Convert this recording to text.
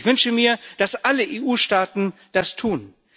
Ich wünsche mir, dass alle EU Staaten das tun.